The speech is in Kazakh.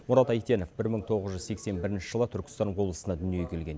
мұрат әйтенов бір мың тоғыз жүз сексен бірінші жылы түркістан облысында дүниеге келген